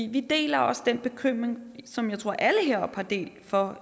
vi deler også den bekymring som jeg tror alle heroppe har delt for